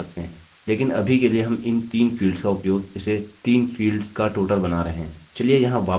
लेकिन अभी के लिए हम इन 3 फील्ड्स का उपयोग इसे 3 फील्ड्स का टोटल बना रहे हैं